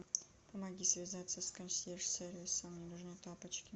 помоги связаться с консьерж сервисом мне нужны тапочки